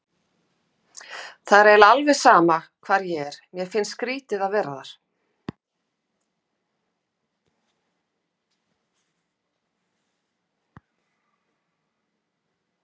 Það er eiginlega alveg sama hvar ég er, mér finnst skrýtið að vera þar.